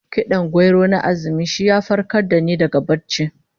Kid'an gwauro na azumi shi ya farkar da ni daga barci